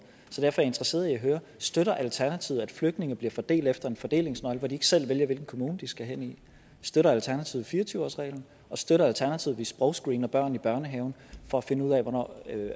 derfor interesseret i at høre støtter alternativet at flygtninge bliver fordelt efter en fordelingsnøgle hvor de ikke selv vælger hvilken kommune de skal hen i støtter alternativet fire og tyve årsreglen støtter alternativet at vi sprogscreener børn i børnehaven for at finde ud